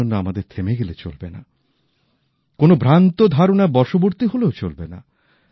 এজন্য আমাদের থেমে গেলে চলবে না কোন ভ্রান্ত ধারণার বশবর্তী হলেও চলবে না